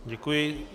Děkuji.